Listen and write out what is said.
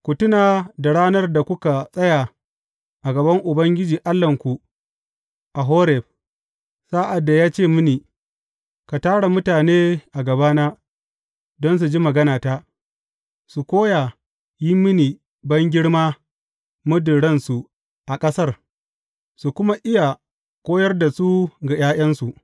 Ku tuna da ranar da kuka tsaya a gaban Ubangiji Allahnku a Horeb, sa’ad da ya ce mini, Ka tara mutane a gabana, don su ji maganata, su koya yin mini bangirma muddin ransu a ƙasar, su kuma iya koyar da su ga ’ya’yansu.